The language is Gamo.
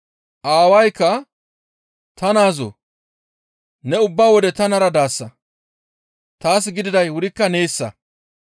«Aawaykka, ‹Ta naazoo ne ubba wode tanara daasa; taas gididay wurikka neessa.